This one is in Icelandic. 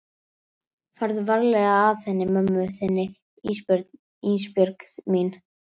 Farðu varlega að henni mömmu þinni Ísbjörg mín.